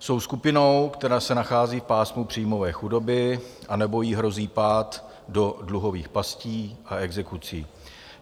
Jsou skupinou, která se nachází v pásmu příjmové chudoby anebo jí hrozí pád do dluhových pastí a exekucí.